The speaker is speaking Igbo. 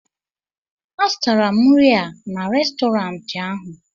a zụtara m nri a n'Restọrantị ahụ